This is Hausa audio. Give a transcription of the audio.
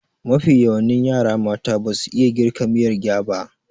Mafi yawani yara mata basu iya girka miyar gyaba